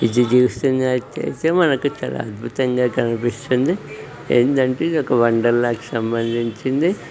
ఇది చూస్తున్నట్టుగా అయితే ఇది ఒక అద్భుతంగా కనిపిస్తుంది. ఏందీ అంటే ఇది ఒక వండర్లా కి సంబంధించింది.